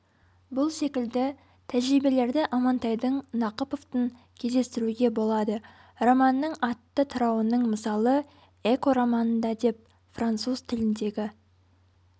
бұл секілді тәжірибелерді амантайдың нақыповтың кездестіруге болады романнның атты тарауының мысалы эко романында деп француз тіліндегі